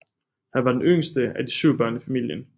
Han var den yngste af de syv børn i familien